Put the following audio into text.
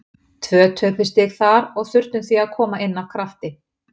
Tvö töpuð stig þar og þurftum því að koma inn af krafti.